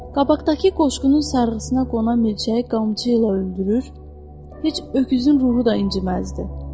Qabaqdakı qoşqunun sarğısına qonan milçəyi qamçı ilə öldürür, heç öküzün ruhu da inciməzdi.